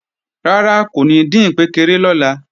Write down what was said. Rárá kò ní dín ìkpékeré lọ́la